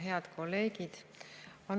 Head kolleegid!